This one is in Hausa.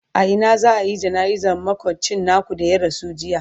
a Ina za'ayi jana'izar makocin naku da ya rasu jiya?